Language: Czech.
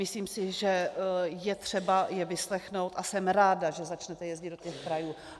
Myslím si, že je třeba je vyslechnout, a jsem ráda, že začnete jezdit do těch krajů.